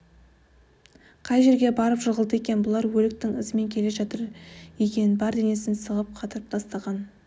қай жерге барып жығылды екен бұлар өліктің ізімен келе жатыр екен бар денесін сығып қатырып тастаған